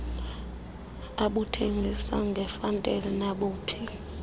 abuthengise ngefantesi nabuphi